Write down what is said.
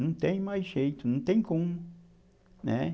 Não tem mais jeito, não tem como, né.